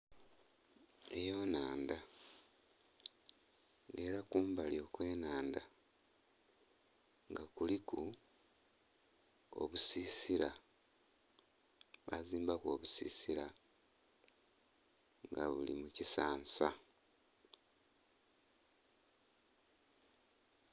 Eyo nnhandha era kumbali okwenhandha nga kuliku obusisira bazimbaku obusisira nga buli mukisansa